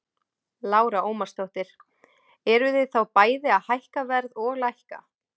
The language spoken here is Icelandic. Lára Ómarsdóttir: Eruð þið þá bæði að hækka verð og lækka?